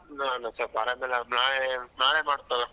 ನಾನ್ ಸೊಲ್ಪ್ ಆರಾಮಿಲ್ಲ ನಾಳೆ ನಾನೇ ಮಾಡ್ತಿ ತೊಗೊ.